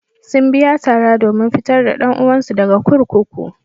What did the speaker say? Sun biya tara domin fitar da ɗan uwansu daga kurkuku.